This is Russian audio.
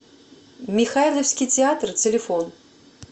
михайловский театр телефон